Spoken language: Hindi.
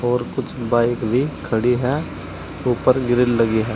और कुछ बाइक भी खड़ी है ऊपर ग्रिल लगी है।